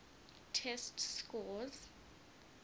test scores